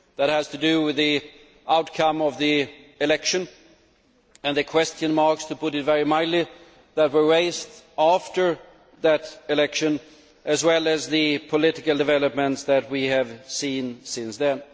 That has to do with the outcome of the election and the question marks to put it very mildly that were raised after that election, as well as the political developments that we have seen since then.